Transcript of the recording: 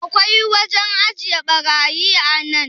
akwai wajen ajiye barayi a nan?